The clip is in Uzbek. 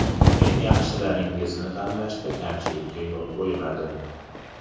Men yaxshilaringizni tanlashda kamchilikka yo‘l qo‘ymadim.